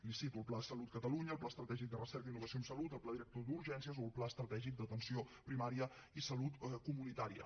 li cito el pla de salut a catalunya el pla estratègic de recerca i innovació en salut el pla director d’urgències o el pla estratègic d’atenció primària i salut comunitària